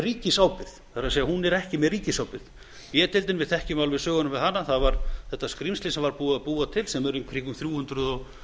ríkisábyrgð það er hún er ekki með ríkisábyrgð við þekkjum alveg söguna með b deildina það var þetta skrímsli sem var búið að búa til sem er í kringum þrjú hundruð